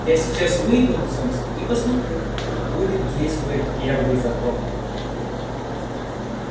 я сейчас выйду на солнце и посмотрю будет действовать первый закон